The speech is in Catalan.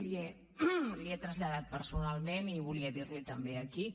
li ho he traslladat personalment i volia dir liho també aquí